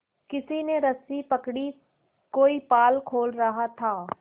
किसी ने रस्सी पकड़ी कोई पाल खोल रहा था